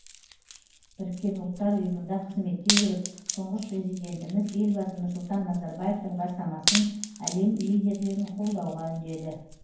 біріккен ұлттар ұйымында қызметте жүріп тұңғыш президентіміз елбасы нұрсұлтан назарбаевтың бастамасын әлем лидерлерін қолдауға үндеді